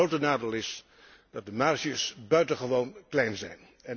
Het grote nadeel is dat de marges buitengewoon klein zijn.